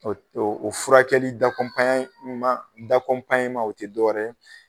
O o o furakɛli o tɛ dɔwɛrɛ ye.